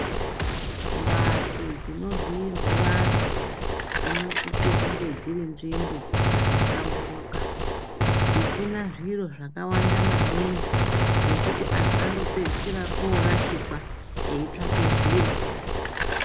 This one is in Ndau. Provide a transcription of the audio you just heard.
Mphatso dzinovhiirwe vanthu dzinosise kunge dziri nzvimbo dzakahlamburuka dzisina zviro zvakawanda maningi zvekuti anthu anopedzisira oorashikwa ngekutsvake zviro.